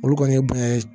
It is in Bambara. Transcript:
Olu kɔni ye bonya ye